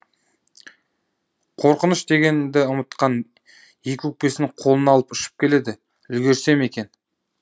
қорқыныш дегенді ұмытқан екі өкпесін қолына алып ұшып келеді үлгірсем екен